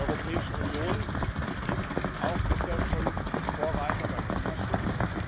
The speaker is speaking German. Die Europäische Union ist auch bisher schon Vorreiter beim Klimaschutz.